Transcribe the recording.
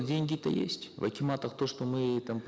дарига нурсултановна деньги то есть в акиматах то что мы там